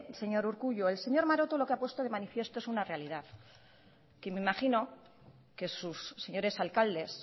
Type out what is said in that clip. señor urkullu el señor maroto lo que ha puesto de manifiesto es una realidad que me imagino que sus señores alcaldes